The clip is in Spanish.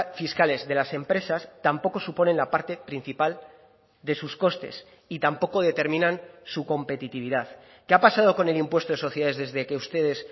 fiscales de las empresas tampoco suponen la parte principal de sus costes y tampoco determinan su competitividad qué ha pasado con el impuesto de sociedades desde que ustedes